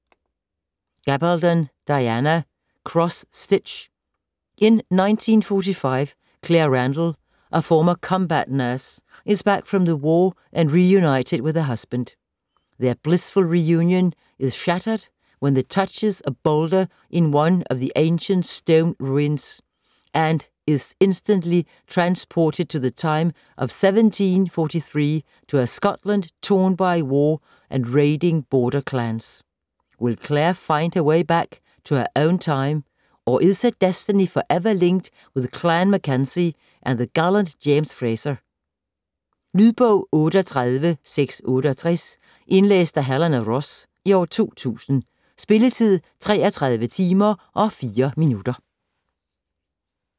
Gabaldon, Diana: Cross stitch In 1945, Claire Randall, a former combat nurse, is back from the war and reunited with her husband. Their blissful reunion is shattered when she touches a boulder in one of the ancient stone ruins and is instantly transported to the time of 1743 to a Scotland torn by war and raiding border clans. Will Claire find her way back to her own time, or is her destiny forever linked with Clan MacKenzie and the gallant James Fraser? Lydbog 38668 Indlæst af Helena Ross, 2000. Spilletid: 33 timer, 4 minutter.